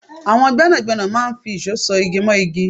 àwọn gbẹ́nàgbẹ́nà máa ń fi ìṣó ṣọ̀ igí mọ́ igí